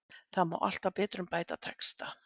Það má alltaf betrumbæta texta.